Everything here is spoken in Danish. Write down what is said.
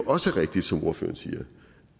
også rigtigt som ordføreren siger